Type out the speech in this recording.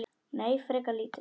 Nei, frekar lítið.